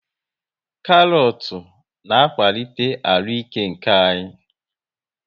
Karọt na akwalite arụike nke anya